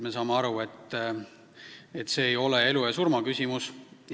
Me saame aru, et see ei ole elu ja surma küsimus.